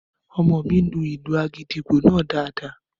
Ọmọ mi lu ìlù àgìdìgbò náà daadaa